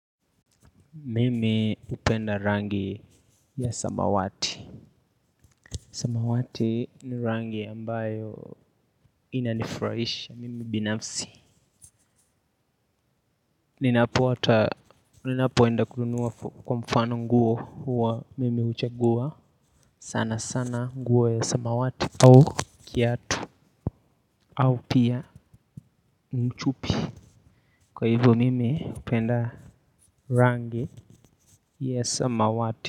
Mimi hupenda rangi ya samawati samawati ni rangi ambayo inanifraisha mimi binafsi ninapo hata ninapoenda kununua kwa mfano nguo huwa mimi huchagua sana sana nguo ya samawati au kiatu au pia mchupi kwa hivyo mimi hupenda rangi ya samawati.